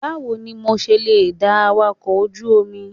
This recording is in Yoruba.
Báwo ni mo ṣe lè da awakọ̀ ojú omi?